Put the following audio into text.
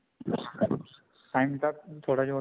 time ਤਾਂ ਥੋੜਾ ਜਾ